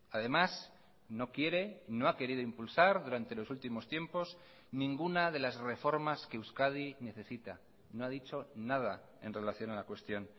además no quiere no ha querido impulsar durante los últimos tiempos ninguna de las reformas que euskadi necesita no ha dicho nada en relación a la cuestión